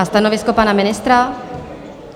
A stanovisko pana ministra?